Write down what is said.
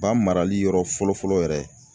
Ba marali yɔrɔ fɔlɔ fɔlɔ yɛrɛ.